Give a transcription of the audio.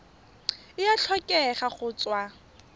e a tlhokega go tswa